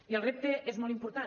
i el repte és molt important